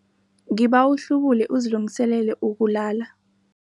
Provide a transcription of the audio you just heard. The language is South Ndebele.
Ngibawa uhlubule uzilungiselele ukulala.